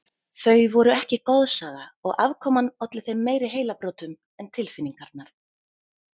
Þau voru ekki goðsaga og afkoman olli þeim meiri heilabrotum en tilfinningarnar.